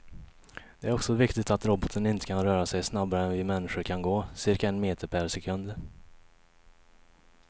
Det är också viktigt att roboten inte kan röra sig snabbare än vi människor kan gå, cirka en meter per sekund.